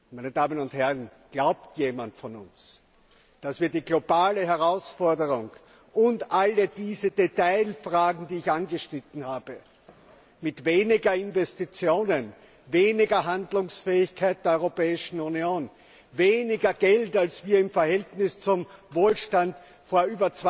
Meine Damen und Herren, glaubt jemand von uns, dass wir der globalen Herausforderung und all diesen Detailfragen, die ich angeschnitten habe, mit weniger Investitionen, weniger Handlungsfähigkeit der Europäischen Union, weniger Geld, als wir im Verhältnis zum Wohlstand von